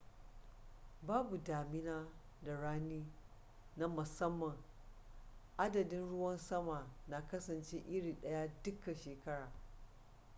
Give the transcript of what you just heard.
babu damina da rani na musamman adadin ruwan sama na kasance iri daya duka shekara